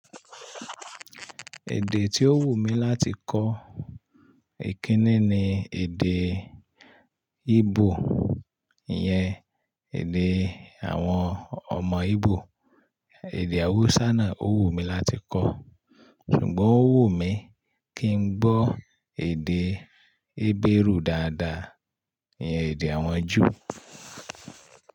Èdè tí ó wù mí láti kọ́ ìkíni ni èdè Ígbò, ìyẹn èdè àwọn ọmọ Íbò. Èdè Hausa náà ó wù mí láti kọ́, ṣùgbọ́n ó wù mí kí n gbọ́ èdè Hébérù dáadáa, ìyẹn èdè àwọn Júù.